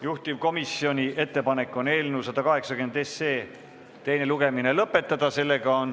Juhtivkomisjoni ettepanek on eelnõu 180 teine lugemine lõpetada.